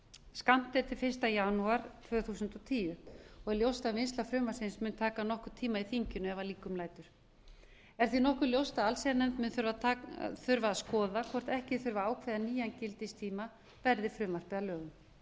skammt er til fyrsta janúar tvö þúsund og tíu og er ljóst að vinnsla frumvarpsins mun taka nokkurn tíma í þinginu ef að líkum lætur er því nokkuð ljóst að allsherjarnefnd mun þurfa að skoða hvort ekki þurfi að ákveða nýjan gildistíma verði frumvarpið að lögum